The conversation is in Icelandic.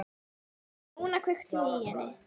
En núna kveikti ég í henni.